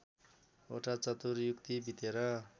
वटा चतुर्युगी बितेर